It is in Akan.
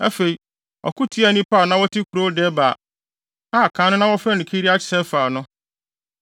Afei, ɔko tiaa nnipa a na wɔte kurow Debir (a kan no na wɔfrɛ no Kiriat-Sefer) no.